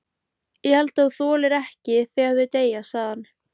Ég held þú þolir ekki þegar þau deyja, sagði hann.